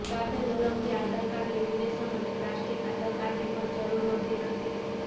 સાથે જ અલગથી આધાર કાર્ડ લેમિનેશન અને પ્લાસ્ટિક આધાર કાર્ડની પણ જરૂર હોતી નથી